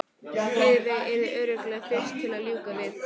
Heiðveig yrði örugglega fyrst til að ljúka við það.